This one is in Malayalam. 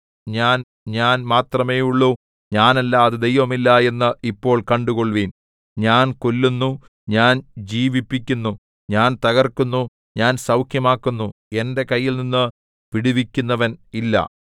ഞാൻ ഞാൻ മാത്രമേയുള്ളു ഞാനല്ലാതെ ദൈവമില്ല എന്നു ഇപ്പോൾ കണ്ടുകൊള്ളുവിൻ ഞാൻ കൊല്ലുന്നു ഞാൻ ജീവിപ്പിക്കുന്നു ഞാൻ തകർക്കുന്നു ഞാൻ സൗഖ്യമാക്കുന്നു എന്റെ കയ്യിൽനിന്ന് വിടുവിക്കുന്നവൻ ഇല്ല